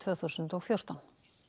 þúsund og fjórtán